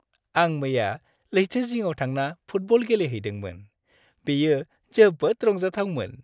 आं मैया लैथो जिङाव थांना फुटबल गेलेहैदोंमोन। बेयो जोबोद रंजाथावमो।